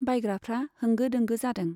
बायग्राफ्रा होंगो दोंगो जादों।